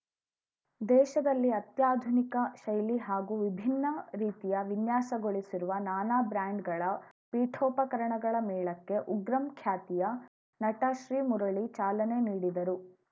ದೇಶದಲ್ಲಿ ಅತ್ಯಾಧುನಿಕ ಶೈಲಿ ಹಾಗೂ ವಿಭಿನ್ನ ರೀತಿಯ ವಿನ್ಯಾಸಗೊಳಿಸಿರುವ ನಾನಾ ಬ್ರ್ಯಾಂಡ್‌ಗಳ ಪೀಠೋಪಕರಣಗಳ ಮೇಳಕ್ಕೆ ಉಗ್ರಂ ಖ್ಯಾತಿಯ ನಟ ಶ್ರೀಮುರಳಿ ಚಾಲನೆ ನೀಡಿದರು